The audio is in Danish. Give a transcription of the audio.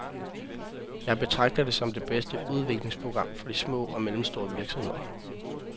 Jeg betragter det som det bedste udviklingsprogram for de små og mellemstore virksomheder.